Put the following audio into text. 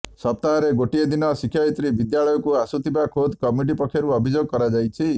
ସପ୍ତାହରେ ଗୋଟିଏ ଦିନ ଶିକ୍ଷୟିତ୍ରୀ ବିଦ୍ୟାଳୟକୁ ଆସୁଥିବା ଖୋଦ୍ କମିଟି ପକ୍ଷରୁ ଅଭିଯୋଗ କରାଯାଇଛି